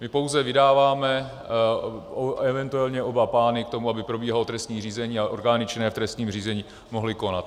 My pouze vydáváme eventuálně oba pány k tomu, aby probíhalo trestní řízení a orgány činné v trestním řízení mohly konat.